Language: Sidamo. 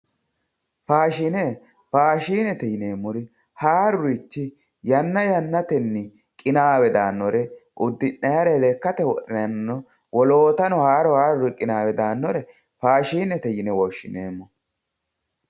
Faashiine. Faashiinete yineemmori haarurichi yanna yannatenni qinaawe daannore udhi'nayire, lekkate wodhinayire, wolootano haaru haaruri qinaawe daannore faashinete yine woshshineemmo.